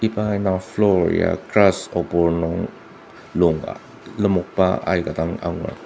iba indang floor ya grass opor nung lung lemokba aika dang angur.